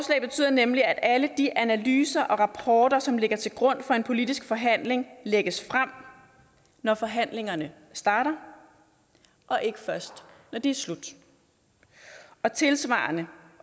nemlig at alle de analyser og rapporter som ligger til grund for en politisk forhandling lægges frem når forhandlingerne starter og ikke først når de er slut og tilsvarende